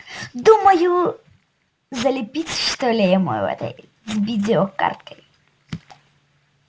думаю залепить что ли ему этой видеокартой